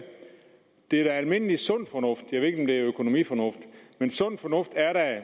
det er almindelig sund fornuft jeg ved ikke økonomisk fornuft